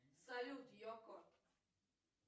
салют екко